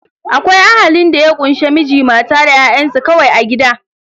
Akwai Ahalin da ya kunshe Miji, mata da ƴa'ƴansu kawai a gida.